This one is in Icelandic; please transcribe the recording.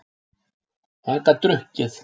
Hann gat drukkið.